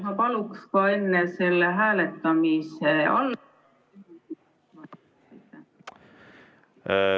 Ma paluks ka enne selle hääletamise ...